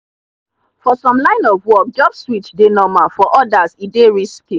for some line of work job switch dey normal for others e dey risky